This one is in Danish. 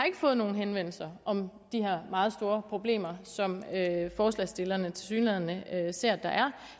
fået nogen henvendelser om de her meget store problemer som forslagsstillerne tilsyneladende ser at der er